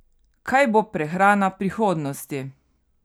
Kaj bo prehrana prihodnosti?